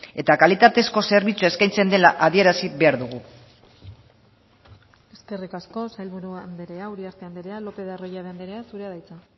eta kalitatezko zerbitzua eskaintzen dela adierazi behar dugu eskerrik asko sailburu andrea uriarte andrea lopez de arroyabe andrea zurea da hitza